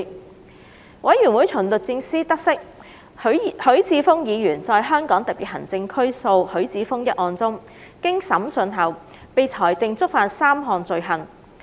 調查委員會從律政司得悉，許智峯議員在香港特別行政區訴許智峯一案中，經審訊後被裁定觸犯3項罪行。